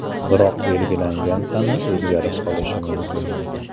Biroq belgilangan sana o‘zgarib qolishi mumkin.